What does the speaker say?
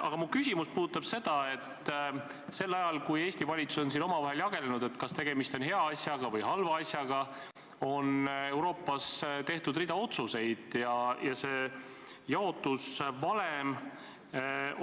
Aga mu küsimus puudutab seda, et ajal, kui Eesti valitsuses on omavahel jageletud, kas tegemist on hea või halva asjaga, on Euroopas tehtud rida otsuseid ja saadud jaotusvalem